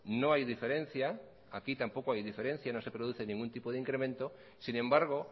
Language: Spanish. no hay diferencia aquí tampoco hay diferencia no se produce ningún tipo de incremento sin embargo